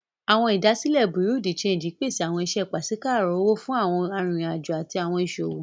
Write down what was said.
Awọn idasile Bureau de change pese awọn iṣẹ paṣipaarọ owo fun awọn aririn ajo ati awọn iṣowo.